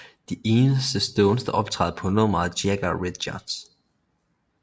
De eneste Stones der optræder på nummeret er Jagger og Richards